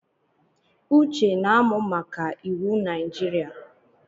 Uche na-amụ maka iwu Najirịa